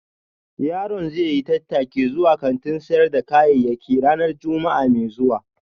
Yaron zai yi tattaki zuwa kantin sayar da kayayyaki ranar Juma'a mai zuwa